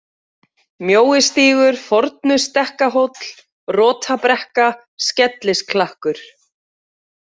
Mjóistígur, Fornustekkahóll, Rotabrekka, Skellisklakkur